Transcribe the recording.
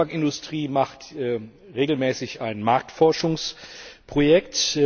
Die deutsche Tabakindustrie macht regelmäßig ein Marktforschungsprojekt.